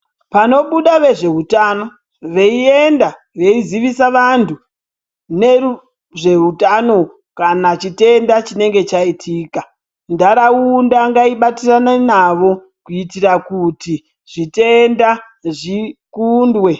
Pano buda vezve hutano vei enda vei zivisa vantu nezve hutano kana chitenda chinenge cha itika ndaraunda ngai batirane navo kuitira kuti zvitenda zvi kundwe.